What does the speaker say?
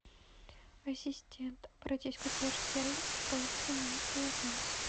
ассистент обратись в консьерж сервис с просьбой заменить полотенце